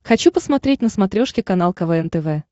хочу посмотреть на смотрешке канал квн тв